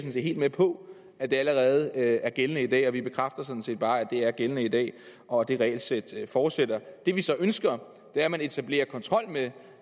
helt med på at det allerede er gældende i dag og vi bekræfter sådan set bare at det er gældende i dag og at det regelsæt fortsætter det vi så ønsker er at man etablerer kontrol med